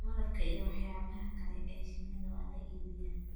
Malabka iyo waxyaabaha kale ee shinnida waa la iibiyaa.